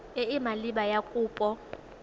e e maleba ya kopo